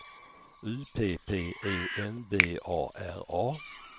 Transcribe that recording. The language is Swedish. U P P E N B A R A